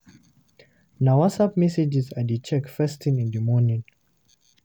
Na WhatsApp messages I dey check first thing in the morning.